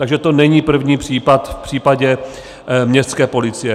Takže to není první případ v případě městské policie.